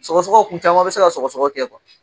Sɔgɔsɔgɔ kun caman bɛ se ka sɔgɔsɔgɔ kɛ kuwa.